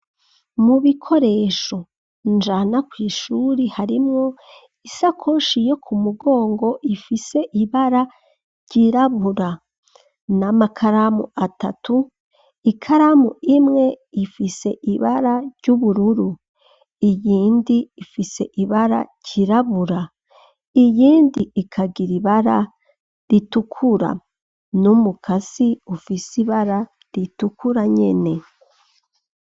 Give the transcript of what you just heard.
Mu bikoresho njana kw'ishuri, harimwo isakoshi yo ku mugongo, ifise ibara ryirabura; n'amakaramu atatu, ikaramu imwe, ifise ibara ry'ubururu, iyindi ifise ibara ryirabura, iyindi ikagira ibara ritukura; n'umukasi, ufise ibara ritukura nyene.